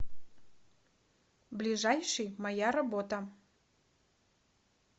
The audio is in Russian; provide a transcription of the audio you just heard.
ближайший моя работа